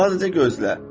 Sadəcə gözlə.